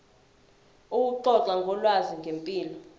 ukuxoxa ngolwazi ngempilo